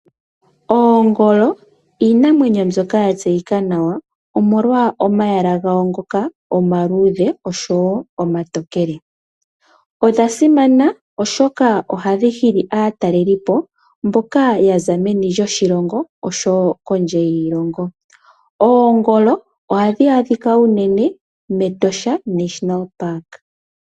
Oongolo iinamwenyo mbyoka ya tseyika nawa omolwa omayala gawo ngoka omaluudhe oshowo omatokele. Odha simana oshoka ohadhi hili aatalelipo mboka ya za meni lyoshilongo oshowo kondje yiilongo. Oongolo ohadhi adhika unene moshikunino shiinamwenyo Etosha.